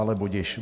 Ale budiž.